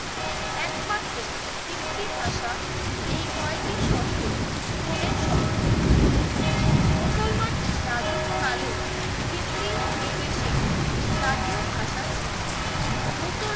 একমাত্র হিন্দি ভাষা এই কয়টি শর্ত পূরণের সক্ষম। মুসলমান রাজত্বকালেও হিন্দি এদেশে জাতীয় ভাষা ছিল। মুসলমান